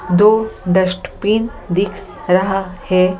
दो डस्टपिन दिख रहा है ।